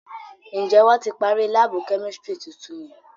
Njẹ wọn ti parí laabu kẹ́místrì tuntun yẹn?